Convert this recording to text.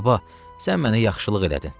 Baba, sən mənə yaxşılıq elədin.